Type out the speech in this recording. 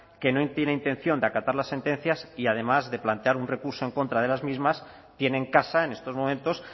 que no tiene intención de acatar las sentencias y además de plantear un recurso en contra de las mismas tiene en casa en estos momentos